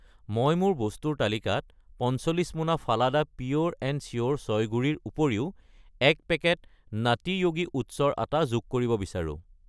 মই মোৰ বস্তুৰ তালিকাত 45 মোনা ফালাডা পিয়োৰ এণ্ড চিয়োৰ চয় গুড়ি ৰ উপৰিও 1 পেকেট নাটী য়োগী ওটছৰ আটা যোগ কৰিব বিচাৰো।